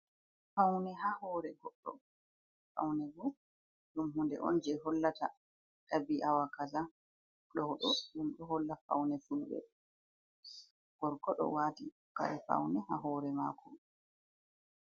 Faune ha hore goddo faune bo dum hunde on je hollata dabiawa kaza, dodo dum do holla faune funde gorko do wati kare faune ha hore mako.